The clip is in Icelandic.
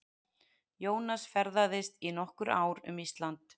Jónas ferðaðist í nokkur ár um Ísland.